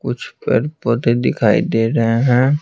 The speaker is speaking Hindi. कुछ पर पौधे दिखाई दे रहे हैं।